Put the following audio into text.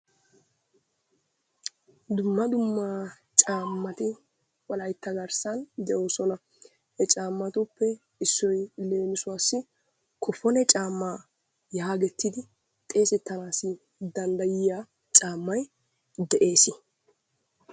Dumma dumma caammati wolaytta garssan de'oosona. He caammatuppe Issoyi leemisuwassi kofone caammaa yaagettidi xeesettanaassi danddayiya caammayi de'es.